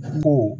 Ko